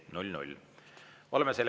Oleme teise päevakorrapunkti menetlemise lõpetanud.